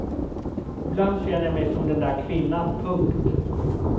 Ibland känner jag mig som den där kvinnan. punkt